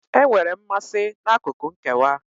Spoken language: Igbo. Enwere m mmasị n'akụkụ nkewa.